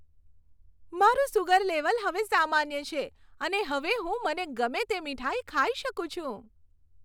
મારું sugar level હવે સામાન્ય છે અને હવે હું મને ગમે તે મીઠાઈ ખાઈ શકું છું.